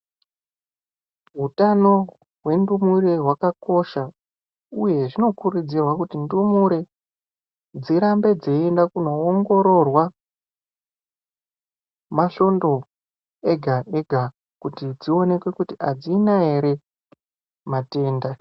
Utano hwe ndumure hwakakosha uye zvinokurudzirwa kuti ndumure dzirambe dzeienda kunowongororwa masvondo ega ega kuti dzioneke kuti adzina ere matenda.